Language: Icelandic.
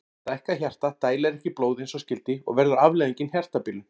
Stækkað hjarta dælir ekki blóði eins og skyldi og verður afleiðingin hjartabilun.